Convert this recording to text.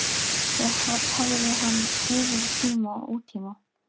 Þau hafði hann yfir í tíma og ótíma.